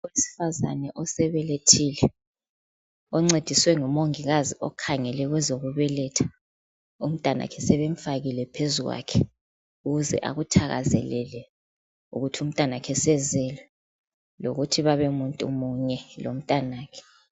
Owesifazane osebelethile oncediswe ngumongikazi okhangele kwezokubelethisa umtwanakhe sebemfakile phezu kwakhe ukuze akuthakazelele ukuthi umtanakhe usezelwe lokuthi babe muntu munye lomtanakhe.